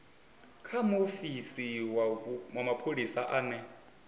kha muofisi wa mapholisa ane